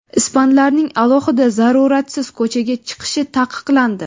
Ispanlarning alohida zaruratsiz ko‘chaga chiqishi taqiqlandi.